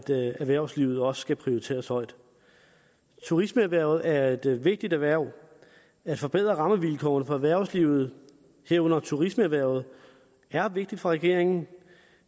erhvervslivet også skal prioriteres højt turismeerhvervet er et vigtigt erhverv at forbedre rammevilkårene for erhvervslivet herunder turismeerhvervet er vigtigt for regeringen